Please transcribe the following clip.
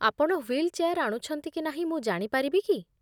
ଆପଣ wheelchair ଆଣୁଛନ୍ତି କି ନାହିଁ, ମୁଁ ଜାଣିପାରିବି କି?